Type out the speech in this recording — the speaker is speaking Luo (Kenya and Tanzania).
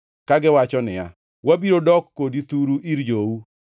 kagiwacho niya, “Wabiro dok kodi thuru ir jou.”